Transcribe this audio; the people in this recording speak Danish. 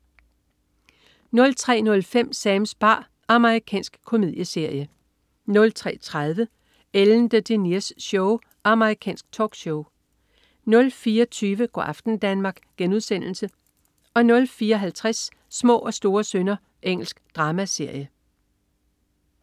03.05 Sams bar. Amerikansk komedieserie 03.30 Ellen DeGeneres Show. Amerikansk talkshow 04.20 Go' aften Danmark* 04.50 Små og store synder. Engelsk dramaserie